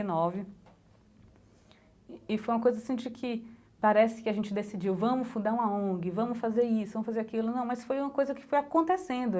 nove e e foi uma coisa assim de que parece que a gente decidiu, vamos fundar uma ONG, vamos fazer isso, vamos fazer aquilo não, mas foi uma coisa que foi acontecendo.